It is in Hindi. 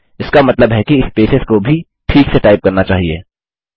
इसका मतलब है कि स्पेसेस को भी ठीक से टाइप करना चाहिए